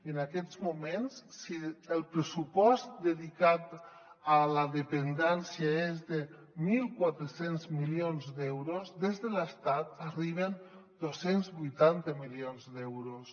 en aquests moments si el pressupost dedicat a la dependència és de mil quatre cents milions d’euros des de l’estat arriben dos cents i vuitanta milions d’euros